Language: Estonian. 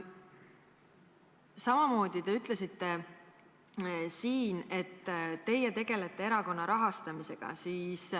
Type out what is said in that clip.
Samamoodi te ütlesite siin, et teie tegelete erakonna rahastamisega.